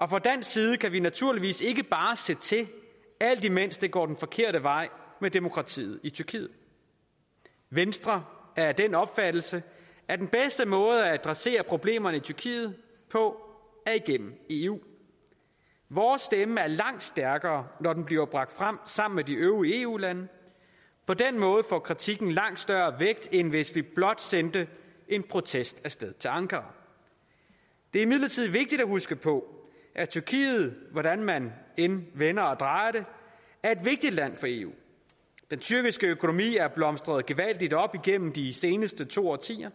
og fra dansk side kan vi naturligvis ikke bare se til alt imens det går den forkerte vej med demokratiet i tyrkiet venstre er af den opfattelse at den bedste måde at adressere problemerne i tyrkiet på er igennem eu vores stemme er langt stærkere når den bliver bragt frem sammen med de øvrige eu lande på den måde får kritikken langt større vægt end hvis vi blot sendte en protest af sted til ankara det er imidlertid vigtigt at huske på at tyrkiet hvordan man end vender og drejer det er et vigtigt land for eu den tyrkiske økonomi er blomstret gevaldigt op igennem de seneste to årtier